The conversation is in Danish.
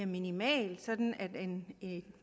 minimal sådan at en